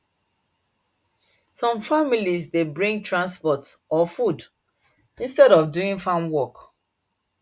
some families dey bring transport or food instead of doing farm work